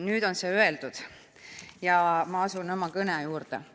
Nüüd on see öeldud ja ma asun oma kõne juurde.